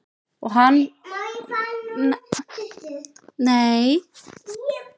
Og hann kann því vel.